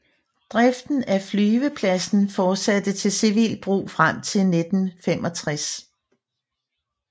Driften af flyvepladsen fortsatte til civilt brug frem til 1965